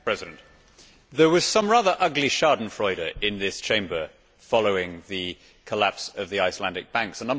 Mr President, there was some rather ugly schadenfreude in this Chamber following the collapse of the Icelandic Banks.